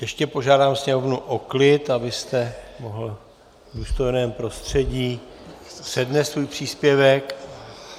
Ještě požádám sněmovnu o klid, abyste mohl v důstojném prostředí přednést svůj příspěvek.